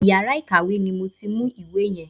Iyàrá ìkàwé ni mo ti mú ìwé yen.